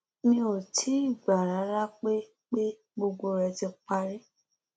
mi ò tí ì gbà rárá pé pé gbogbo rẹ ti parí